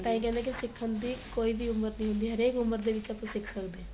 ਤਾਂ ਇਹ ਕਹਿੰਦੇ ਏ ਕੀ ਸਿਖਣ ਦੀ ਕੋਈ ਉਮਰ ਨਹੀਂ ਹੁੰਦੀ ਹਰੇਕ ਉਮਰ ਦੇ ਵਿੱਚ ਆਪਾਂ ਸਿਖ ਸਕਦੇ ਆ